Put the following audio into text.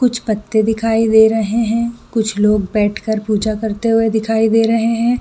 कुछ पत्ते दिखाई दे रहे है कुछ लोग बैठ के पूजा करते हुए दिखाई दे रहे है।